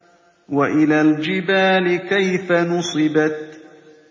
وَإِلَى الْجِبَالِ كَيْفَ نُصِبَتْ